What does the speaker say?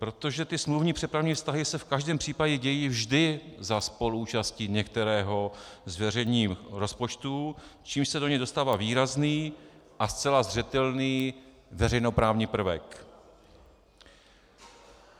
Protože ty smluvní přepravní vztahy se v každém případě dějí vždy za spoluúčasti některého z veřejných rozpočtů, čímž se do něj dostává výrazný a zcela zřetelný veřejnoprávní prvek.